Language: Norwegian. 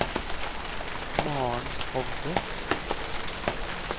Maren Hovde